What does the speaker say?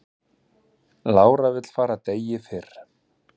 Lára vill fara degi fyrr